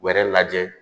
Wɛrɛ lajɛ